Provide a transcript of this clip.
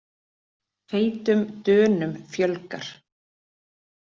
Feitum Dönum fjölgar